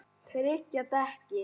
Tryggja dekkin?